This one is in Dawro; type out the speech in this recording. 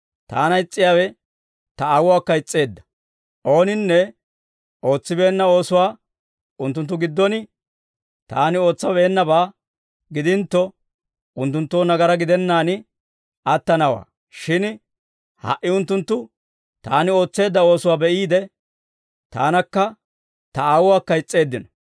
Taana is's'iyaawe Ta Aawuwaakka is's'eedda. Ooninne ootsibeenna oosuwaa unttunttu giddon Taani ootsabeennabaa gidintto, unttunttoo nagaraa gidennaan attanawaa; shin ha"i unttunttu Taani ootseedda oosuwaa be'iide, Taanakka Ta Aawuwaakka is's'eeddino.